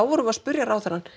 vorum við að spurja ráðherrann